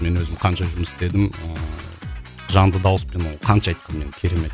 мен өзім қанша жұмыс істедім ыыы жанды дауыспен ы қанша айттым мен керемет